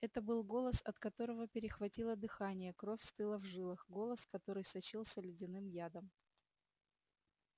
это был голос от которого перехватило дыхание кровь стыла в жилах голос который сочился ледяным ядом